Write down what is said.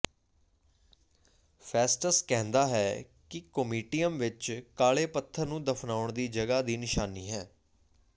Festus ਕਹਿੰਦਾ ਹੈ ਕਿ ਕੋਮਿਟੀਅਮ ਵਿਚ ਕਾਲੇ ਪੱਥਰ ਨੂੰ ਦਫ਼ਨਾਉਣ ਦੀ ਜਗ੍ਹਾ ਦੀ ਨਿਸ਼ਾਨੀ ਹੈ